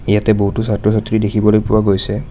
ইয়াতে বহুতো ছাত্ৰ-ছাত্ৰী দেখিবলৈ পোৱা গৈছে।